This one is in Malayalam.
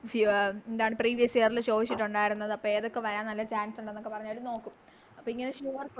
സിയ എന്താണ് Previuos year ചോദിച്ചിട്ടൊണ്ടാരുന്നത് അപ്പൊ ഏതൊക്കെ വരാൻ Chance ഒണ്ടെന്നൊക്കെ പറഞ്ഞവര് നോക്കും അപ്പൊ ഇങ്ങനെ Sure